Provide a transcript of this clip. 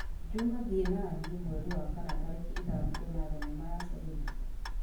juma thiĩ naniĩ mweri wa kana tarĩki ithano kwona thenema ya selina